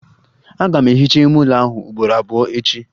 Aga m ehicha ime ụlọ m ugboro abụọ echi.